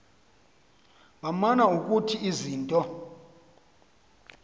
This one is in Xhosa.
baman ukuthi izinto